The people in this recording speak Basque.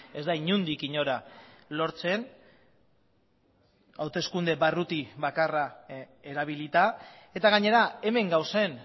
ez da inondik inora lortzen hauteskunde barruti bakarra erabilita eta gainera hemen gauzen